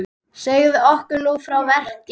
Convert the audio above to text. Segðu okkur nú frá verk